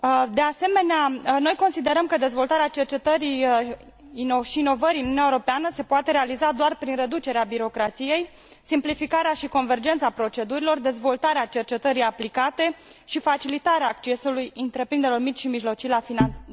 De asemenea, noi considerăm că dezvoltarea cercetării și inovării în Uniunea Europeană se poate realiza doar prin reducerea birocrației, simplificarea și convergența procedurilor, dezvoltarea cercetării aplicate și facilitarea accesului întreprinderilor mici și mijlocii la finanțare.